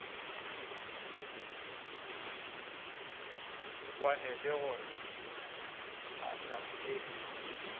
kwane le gore phahla e